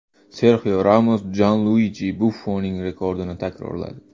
Serxio Ramos Janluiji Buffoning rekordini takrorladi.